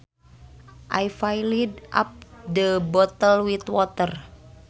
I filled up the bottle with water